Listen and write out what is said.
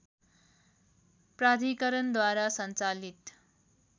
प्राधिकरणद्वारा सञ्चालित